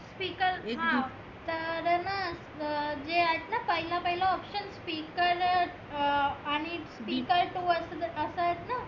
speaker हं तर हे ना तर जे आहेत ना पहीलं पहीलं option speaker अं आणि speaker two असं आहेत ना